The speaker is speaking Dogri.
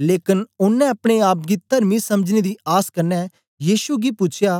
लेकन ओनें अपने आप गी तरमी समझने दी आस कन्ने यीशु गी पूछया